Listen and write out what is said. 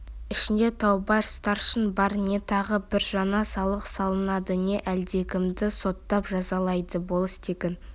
ішінде таубай старшын бар не тағы бір жаңа салық салынады не әлдекімді соттап жазалайды болыс тегін